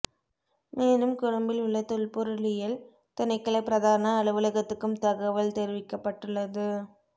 மேலும் கொழும்பில் உள்ள தொல்பொருளியல் திணைக்கள பிரதான அலுவலகத்துக்கும் தகவல் தெரிவிக்கப்பட்டுள்ளது